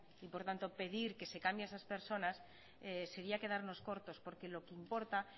y por tanto pedir que se cambie a esas personas sería quedarnos cortos porque lo que importa